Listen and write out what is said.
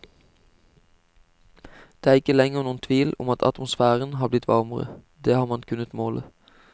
Det er ikke lenger noen tvil om at atmosfæren har blitt varmere, det har man kunnet måle.